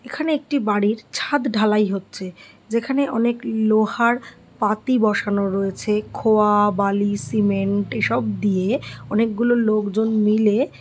এখানে একটি বাড়ির ছাদ ঢালাই হচ্ছে যেখানে অনেক লোহার পাতি বসানো রয়েছে খোয়া বালি সিমেন্ট এসব দিয়ে অনেকগুলো লোকজন মিলে --